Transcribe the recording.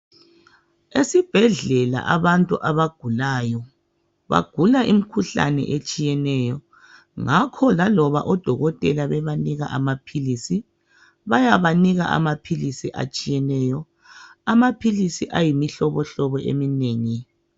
Esibhedlela abantu abagulayo bagula imikhuhlane etshiyeneyo ngakho laloba odokotela bebanika amapills bayabaniksa amapills atshiyeneyo amapills ayimihlobo hlobo eminengi